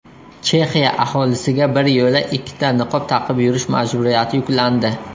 Chexiya aholisiga biryo‘la ikkita niqob taqib yurish majburiyati yuklandi.